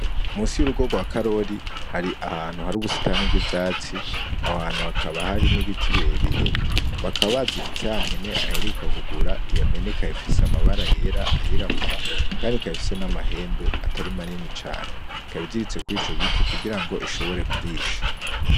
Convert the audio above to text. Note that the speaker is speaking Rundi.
Munsi y'urugo rwa Karori hari ahantu hari ubusitani bw'ivyatsi, aho hantu hakaba hari n'ibiti birebire bakaba baziritse ya mpene aheruka kugura, iyo mpene ikaba ifise amabara yera, ayirabura kandi ikaba ifise n'amahembe atari manini cane, ikaba iziritse kuri ico giti kugirango ishobore kurisha.